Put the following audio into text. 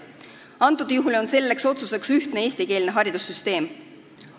Antud juhul on selleks otsuseks ühtne eestikeelne haridussüsteem.